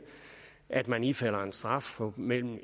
at man ifalder en straf på mellem